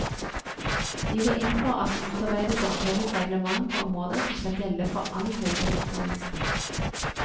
Vi går inn for at det utarbeides et felles reglement på området som skal gjelde for all høyere utdannelse.